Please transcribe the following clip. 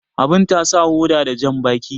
Abu ta sa hoda da jambaki